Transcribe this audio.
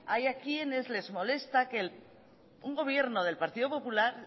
hay a quienes que les molesta que un gobierno del partido popular